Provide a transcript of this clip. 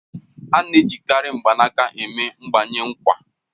Á na-ejikarị mgbanaka eme mgbanwe nkwa